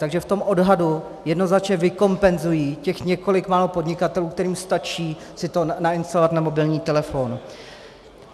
Takže v tom odhadu jednoznačně vykompenzují těch několik málo podnikatelů, kterým stačí si to nainstalovat na mobilní telefon.